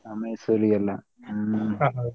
ಹಾ Mysore ಗೆಲ್ಲ ಹ್ಮ್ .